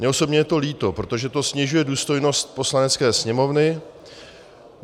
Mně osobně je to líto, protože to snižuje důstojnost Poslanecké sněmovny.